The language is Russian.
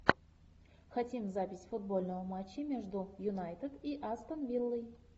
хотим запись футбольного матча между юнайтед и астон виллой